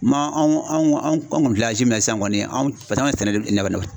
Man anw anw anw kɔni min na sisan kɔni paseke anw ka sɛnɛ